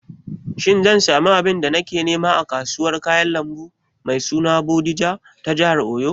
Shin zan samu abin da nake nema a kasuwar kayan lambu mai suna Bodija ta jihar Oyo?